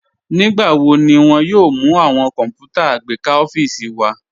Nígbàwọ̀ ní wọn yóò mú awọn kọnpútà àgbékà ọfiísì wa?